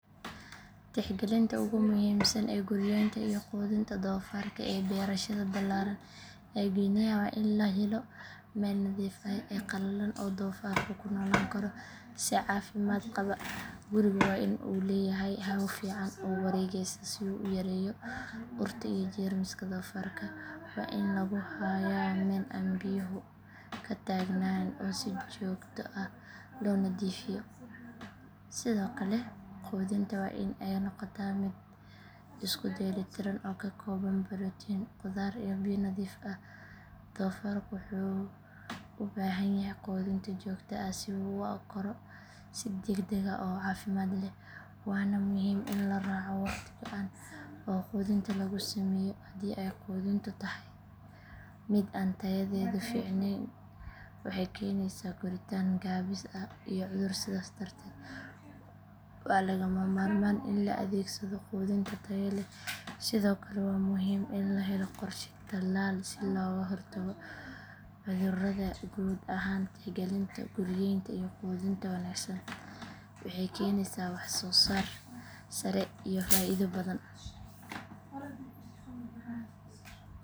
Tixgalinta ugu muhiimsan ee guryeynta iyo quudinta doofaarka ee beerashada ballaaran ee guinea waa in la helo meel nadiif ah oo qalalan oo doofaarku ku noolaan karo si caafimaad qaba gurigu waa in uu leeyahay hawo fiican oo wareegaysa si uu u yareeyo urta iyo jeermiska doofaarka waa in lagu hayaa meel aan biyuhu ka taagnaan oo si joogto ah loo nadiifiyo sidoo kale quudintu waa in ay noqotaa mid isku dheelitiran oo ka kooban borotiin khudaar iyo biyo nadiif ah doofaarka wuxuu u baahan yahay quudin joogto ah si uu u koro si degdeg ah oo caafimaad leh waana muhiim in la raaco wakhti go’an oo quudinta lagu sameeyo haddii ay quudintu tahay mid aan tayadeedu fiicnayn waxay keenaysaa koritaan gaabis ah iyo cudur sidaas darteed waa lagama maarmaan in la adeegsado quudin tayo leh sidoo kale waa muhiim in la helo qorshe tallaal si looga hortago cudurrada guud ahaan tixgalinta guryeynta iyo quudinta wanaagsan waxay keenaysaa waxsoosaar sare iyo faa’iido badan.